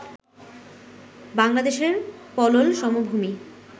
বাংলাদেশের পলল সমভুমি